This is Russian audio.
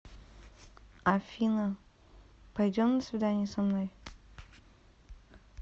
афина пойдем на свидание со мной